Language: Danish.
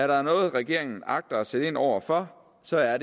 der er noget regeringen agter at sætte ind over for så er